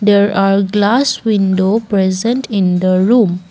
There are glass window present in the room.